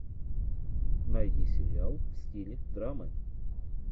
найди сериал в стиле драмы